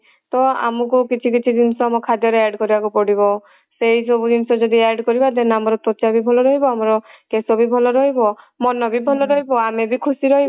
ତ ଅମକୁ କିଛି କିଛି ଜିନିଷ ଆମ ଖାଦ୍ୟ ରେ add କରିବାକୁ ପଡିବ ସେଇ ସବୁ ଜିନିଷ ଯଦି add କରିବା then ଆମର ତ୍ଵଚା ବି ଭଲ ରହିବ ଆମର କେଶ ବି ଭଲ ରହିବ ମନ ବି ଭଲ ରହିବ ଆମେ ବି ଖୁସି ରହିବା